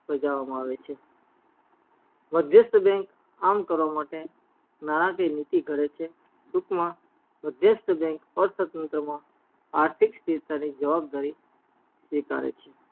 બાજવામાં આવે છે મધ્યસ્ત bank આમ કરવા માટે નાણાકીય નીતિ ઘડે છે ટુક માં મધ્યસ્ત bank અર્થ તંત્ર માં આર્થીક સ્થિરતા ની જવાબદારી સ્વીકારે છે